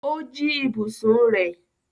O jí ibùsùn rẹ̀?